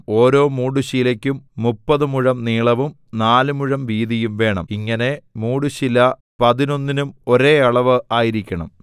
ഓരോ മൂടുശീലയ്ക്കും മുപ്പത് മുഴം നീളവും നാല് മുഴം വീതിയും വേണം ഇങ്ങനെ മൂടുശീല പതിനൊന്നിനും ഒരേ അളവ് ആയിരിക്കണം